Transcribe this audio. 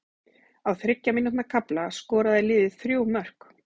Á þriggja mínútna kafla skoraði liðið þrjú mörk.